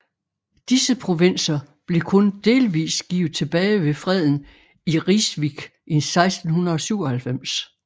Disse provinser blev kun delvis givet tilbage ved freden i Rijswick i 1697